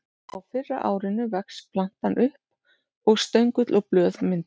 Á fyrra árinu vex plantan upp og stöngull og blöð myndast.